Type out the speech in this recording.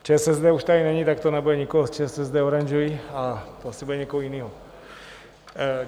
ČSSD už tady není, tak to nebude nikoho z ČSSD oranžový a asi to bude někoho jiného.